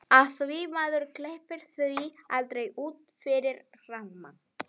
Af því maður hleypir því aldrei út fyrir rammann.